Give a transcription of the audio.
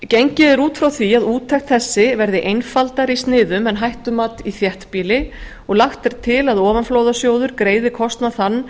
gengið er út frá því að úttekt þessi verði einfaldari í sniðum en hættumat í þéttbýli og lagt er til að ofanflóðasjóður greiði kostnað þann